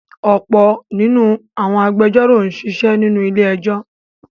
ọ̀pọ̀ nínú àwọn agbẹjọ́rò sisé nínú ilé-ẹjọ́.